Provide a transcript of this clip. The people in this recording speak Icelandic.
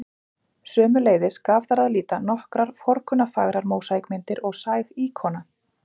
Sömuleiðis gaf þar að líta nokkrar forkunnarfagrar mósaíkmyndir og sæg íkona.